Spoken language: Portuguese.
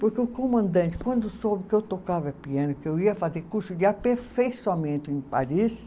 Porque o comandante, quando soube que eu tocava piano, que eu ia fazer curso de aperfeiçoamento em Paris,